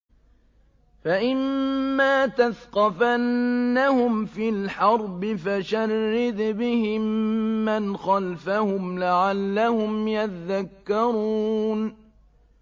فَإِمَّا تَثْقَفَنَّهُمْ فِي الْحَرْبِ فَشَرِّدْ بِهِم مَّنْ خَلْفَهُمْ لَعَلَّهُمْ يَذَّكَّرُونَ